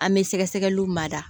An bɛ sɛgɛsɛgɛliw mara